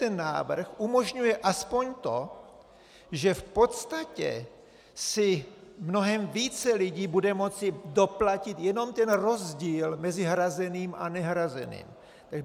Tento návrh umožňuje aspoň to, že v podstatě si mnohem více lidí bude moci doplatit jenom ten rozdíl mezi hrazeným a nehrazeným.